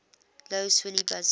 lough swilly buses